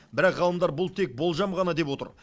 бірақ ғалымдар бұл тек болжам ғана деп отыр